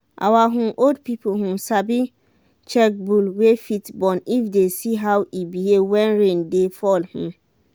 our um old people um sabi check bull wey fit born if they see how e behave when rain dey fall. um